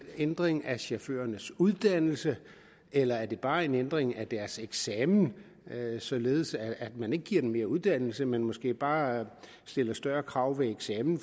ændring af chaufførernes uddannelse eller det bare er en ændring af deres eksamen således at man ikke giver dem mere uddannelse men måske bare stiller større krav ved eksamen